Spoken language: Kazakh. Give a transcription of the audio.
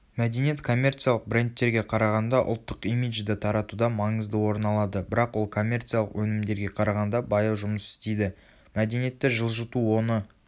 мәдениет коммерциялық брендтерге қарағанда ұлттық имиджді таратуда маңызды орыналады бірақ ол коммерциялық өнімдерге қарағанда баяу жұмыс істейді.мәдениетті жылжыту оны